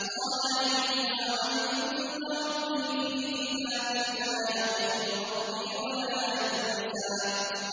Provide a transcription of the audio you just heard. قَالَ عِلْمُهَا عِندَ رَبِّي فِي كِتَابٍ ۖ لَّا يَضِلُّ رَبِّي وَلَا يَنسَى